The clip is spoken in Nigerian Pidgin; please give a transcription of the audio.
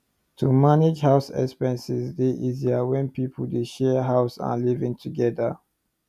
to manage house expenses dey easier when people dey share house and live together